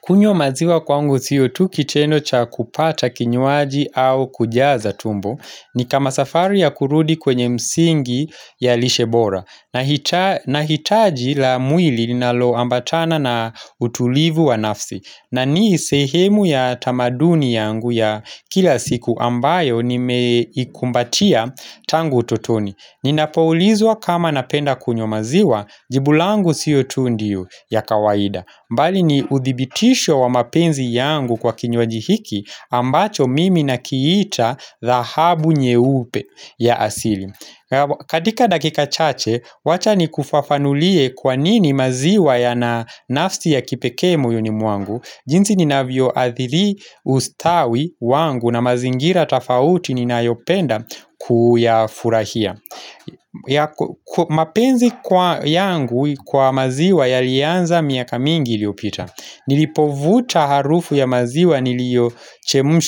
Kunywa maziwa kwangu sio tu kitendo cha kupata kinywaji au kujaza tumbo ni kama safari ya kurudi kwenye msingi ya lishe bora nahitaji nahitaji la mwili ninalo ambatana na utulivu wa nafsi na ni sehemu ya tamaduni yangu ya kila siku ambayo ni meikumbatia tangu utotoni ninapoulizwa kama napenda kunywa maziwa jibu langu si o tu ndio ya kawaida mbali ni uthibitisho wa mapenzi yangu kwa kinywaji hiki ambacho mimi nakiita dhahabu nyeupe ya asili katika dakika chache, wacha ni kufafanulie kwanini maziwa yana nafsi ya kipekee moyoni mwangu jinsi ninavyo adhili ustawi wangu na mazingira tofauti ninayopenda kuyafurahia mapenzi kwa yangu kwa maziwa yalianza miaka mingi iliopita Nilipovuta harufu ya maziwa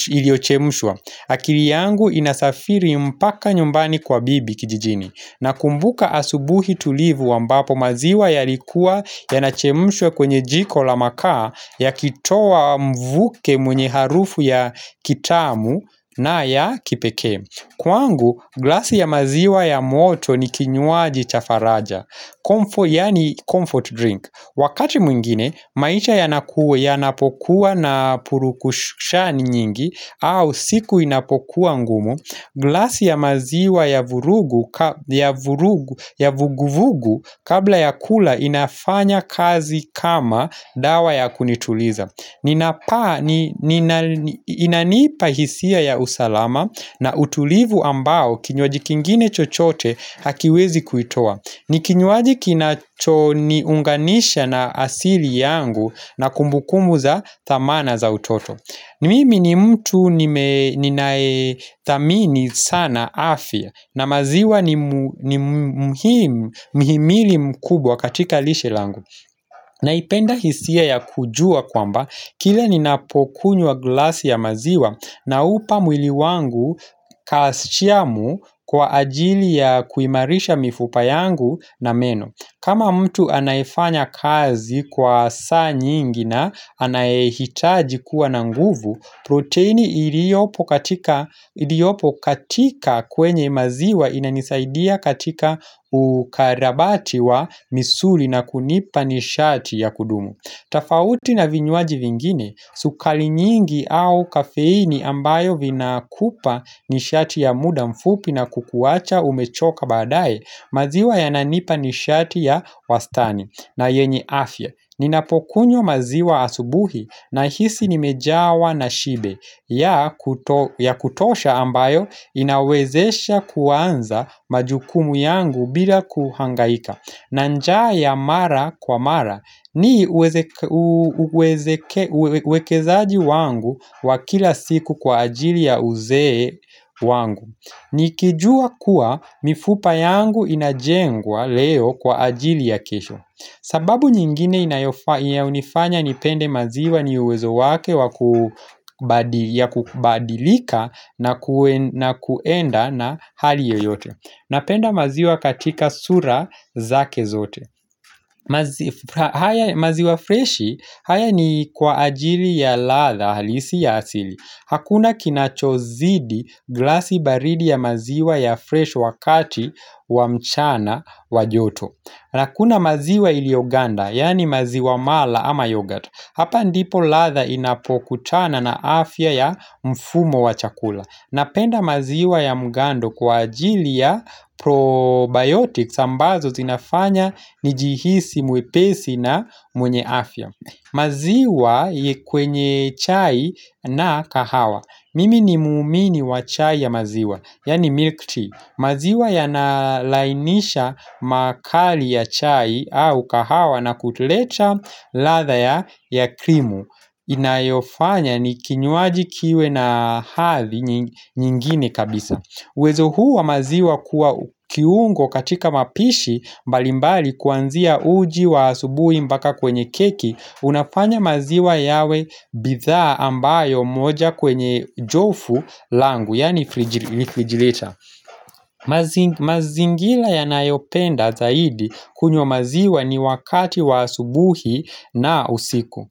iliyochemshwa akili yangu inasafiri mpaka nyumbani kwa bibi kijijini na kumbuka asubuhi tulivu ambapo maziwa yalikuwa Yanachemshwa kwenye jiko la makaa Yakitoa mvuke mwenye harufu ya kitamu na ya kipekee Kwangu, glasi ya maziwa ya moto ni kinywaji cha faraja Comfort yani comfort drink Wakati mwingine, maisha yanakua yanapokuwa na purukushani nyingi au siku inapokuwa ngumu glasi ya maziwa ya vuguvugu kabla ya kula inafanya kazi kama dawa ya kunituliza inanipa hisia ya usalama na utulivu ambao kinywaji kingine chochote hakiwezi kuitoa ni kinywaji kinacho niunganisha na asili yangu na kumbukumbu za thamana za utoto mimi mini mtu ninayethamini sana afya na maziwa ni muhimu mihimili mkubwa katika lishe langu Naipenda hisia ya kujuwa kwamba, kila ninapokunywa glasi ya maziwa naupa mwili wangu kastiamu kwa ajili ya kuimarisha mifupa yangu na meno. Kama mtu anayefanya kazi kwa saa nyingi na anayehitaji kuwa na nguvu, proteini iliyopo katika kwenye maziwa inanisaidia katika ukarabati wa misuli na kunipa nishati ya kudumu. Tofauti na vinywaji vingine, sukari nyingi au kafeini ambayo vinakupa nishati ya muda mfupi na kukuwacha umechoka baadaye, maziwa yananipa nishati ya wastani na yenye afya. Ninapokunyo maziwa asubuhi na hisi nimejawa na shibe ya kutosha ambayo inawezesha kuanza majukumu yangu bila kuhangaika. Na njaa mara kwa mara ni uwekezaji wangu wa kila siku kwa ajili ya uzee wangu Nikijua kuwa mifupa yangu inajengwa leo kwa ajili ya keshp sababu nyingine inayofanya nipende maziwa ni uwezo wake wakubadilika na kuenda na hali yoyote Napenda maziwa katika sura zake zote maziwa freshi, haya ni kwa ajili ya ratha halisi ya asili Hakuna kinachozidi glasi baridi ya maziwa ya fresh wakati wa mchana wa joto na kuna maziwa iliyoganda, yani maziwa mala ama yogurt Hapa ndipo ladha inapokutana na afya ya mfumo wa chakula Napenda maziwa ya mugando kwa ajili ya probiotics ambazo zinafanya nijihisi mwepesi na mwenye afya maziwa kwenye chai na kahawa Mimi ni muumini wa chai ya maziwa Yani milk tea maziwa yanalainisha makali ya chai au kahawa na kuleta ladha ya krimu inayofanya ni kinywaji kiwe na hathi nyingine kabisa uwezo huu wa maziwa kuwa kiungo katika mapishi mbalimbali kuanzia uji wa asubuhi mpaka kwenye keki Unafanya maziwa yawe bidhaa ambayo moja kwenye jofu langu Yaani rifrigilita mazingira yanayopenda zaidi kunywa maziwa ni wakati wa asubuhi na usiku.